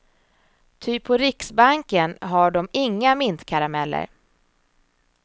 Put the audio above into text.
Ty på riksbanken har de inga mintkarameller.